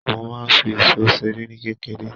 Mo máa ń fi isó seré ní kékeré.